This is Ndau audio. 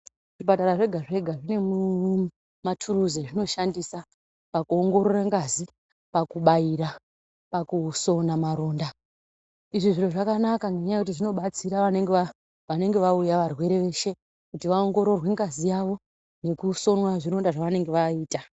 Zvipatara zvega zvega zvine maturuzi azvinoshandisa pakuongorora ngazi, pakubaira, pakusona maronda izvi zviro zvakanaka ngenyaya yekuti zvinobatsira vanenge vauya varwere veshe kuti vaongororwe ngazi yavo nekusonwa zvironda zvawo zvavanenge vaita